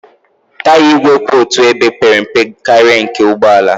Taya igwe kwụ otu ebe pere mpe karịa nke ụgbọ ala